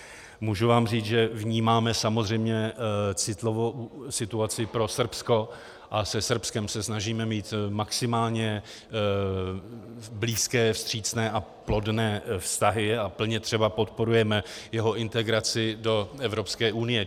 Můžu vám říct, že vnímáme samozřejmě citlivou situaci pro Srbsko a se Srbskem se snažíme mít maximálně blízké, vstřícné a plodné vztahy a plně třeba podporujeme jeho integraci do Evropské unie.